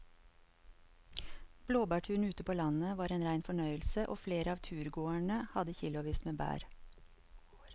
Blåbærturen ute på landet var en rein fornøyelse og flere av turgåerene hadde kilosvis med bær.